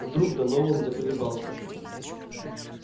вдруг донован заколебался